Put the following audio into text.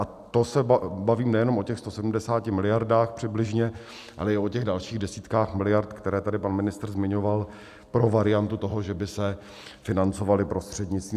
A to se bavím nejenom o těch 170 miliardách přibližně, ale i o těch dalších desítkách miliard, které tady pan ministr zmiňoval pro variantu toho, že by se financovaly prostřednictvím...